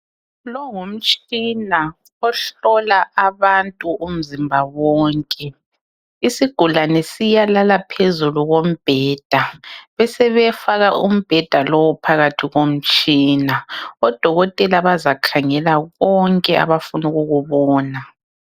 lowu ngumtshina ohlola abantu umzimba wonke isigulane siyalala phezulu kombheda besebefaka umbheda lowu phakathi komtshina odokotela bazakhangela konke abafuna ukukubona